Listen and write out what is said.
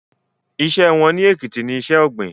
Iṣẹ́ wọn ní Èkìtì ní iṣẹ́ ọ̀gbìn